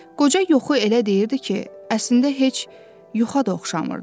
Qoca yuxu elə deyirdi ki, əslində heç yuxa da oxşamırdı.